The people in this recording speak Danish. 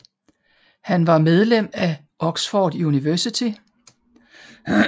Han var medlem af Oxford University